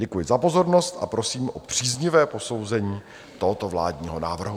Děkuji za pozornost a prosím o příznivé posouzení tohoto vládního návrhu.